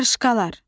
Qarışqalar.